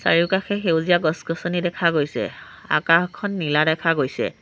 চাৰিওকাষে সেউজীয়া গছ-গছনি দেখা গৈছে আকাশখন নীলা দেখা গৈছে।